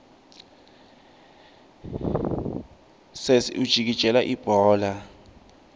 sesi ujikijela libhola